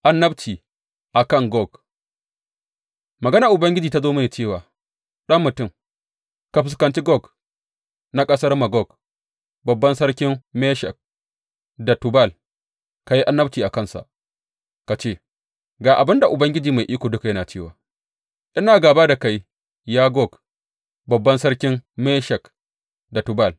Annabci a kan Gog Maganar Ubangiji ta zo mini cewa, Ɗan mutum, ka fuskanci Gog, na ƙasar Magog, babban sarkin Meshek da Tubal; ka yi annabci a kansa ka ce, Ga abin da Ubangiji Mai Iko Duka yana cewa ina gāba da kai, ya Gog, babban sarkin Meshek da Tubal.